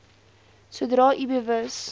sodra u bewus